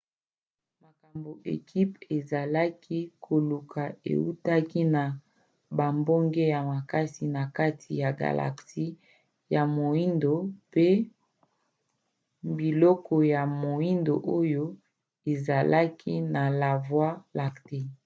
makambo ekipe ezalaki koluka eutaki na bambonge ya makasi na kati ya galaxie ya moindo pe biloko ya moindo oyo ezalaki na la voie lactée